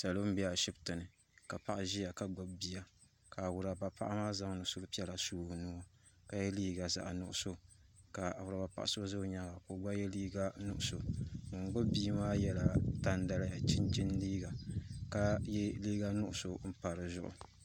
salo bɛ ashɛbitɛni ka paɣ' ʒɛya ka wuraba paɣ' maa zaŋ so kpɛrina ka liga zaɣ' nuɣisu ka awuraba paɣ' so gba ʒɛ o nyɛŋa ka yɛ liga nugisu ŋɔ gbabi maa yɛla tan daya chichini liga ka yɛ liga nuɣisu n pa di zuɣ'